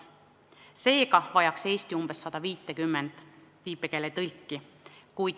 Seega vajaks Eesti umbes 150 viipekeeletõlki.